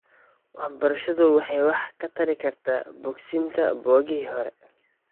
Waxbarashadu waxay wax ka tari kartaa bogsiinta boogihii hore .